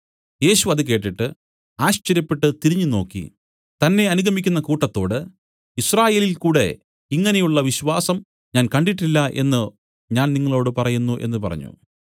യേശു അത് കേട്ടിട്ട് ആശ്ചര്യപ്പെട്ടു തിരിഞ്ഞുനോക്കി തന്നെ അനുഗമിക്കുന്ന കൂട്ടത്തോട് യിസ്രായേലിൽകൂടെ ഇങ്ങനെയുള്ള വിശ്വാസം ഞാൻ കണ്ടിട്ടില്ല എന്നു ഞാൻ നിങ്ങളോടു പറയുന്നു എന്നു പറഞ്ഞു